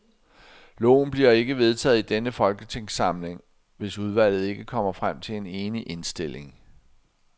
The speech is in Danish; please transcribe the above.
Loven bliver ikke vedtaget i denne folketingssamling, hvis udvalget ikke kommer frem til en enig indstilling.